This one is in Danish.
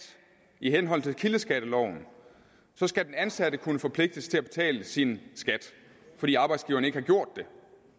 i henhold til kildeskatteloven skal den ansatte kunne forpligtes til at betale sin skat fordi arbejdsgiveren ikke har gjort det